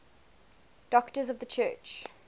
doctors of the church